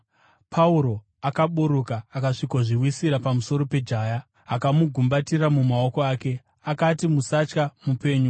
Pauro akaburuka akasvikozviwisira pamusoro pejaya akamugumbatira mumaoko ake. Akati, “Musatya, mupenyu!”